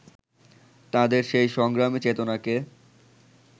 তাঁদের সেই সংগ্রামী চেতনাকে